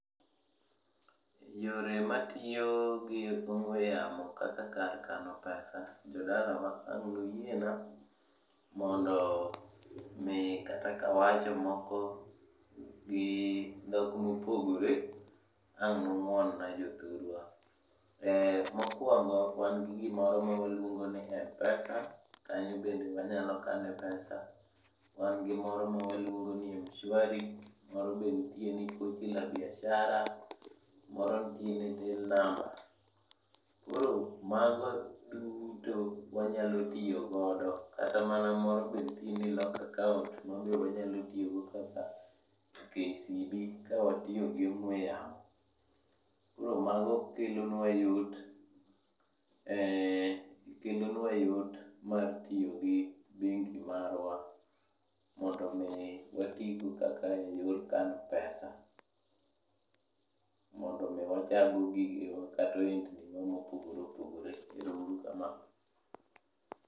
Yore matiyo gi ong'we yamo kaka kar kano pesa, jodalawa ang' nuyiena mondo mi kata kawachomoko gi dhok mopogore, ang' nung'uon na jothurwa. Mokwongo wan gi gimoro mawaluongo ni M-pesa, kanyobende wanyalo kane pesa. Wan gi moro mawaluongo ni M-shwari, moro benitie ni pochi la biashara, moro nitie ni till number. Koro mago duto wanyalo tiyogodo., kata mana moro benitie ni lock account, mabe wanyalotiyogo kaka KCB kawatiyogi ong'we yamo. Koro mago kelonwa yot mar tiyo gi bengni marwa mondomi watigo kaka e yor kano pesa. Mondo omiwachak go gigewa kata ohendniwa mopogore opogore. Ero uru kamano.